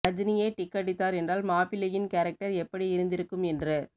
ரஜினியே tick அடித்தார் என்றால் மாப்பிள்ளையின் கேரக்டர் எப்படி இருந்திருக்கும் என்று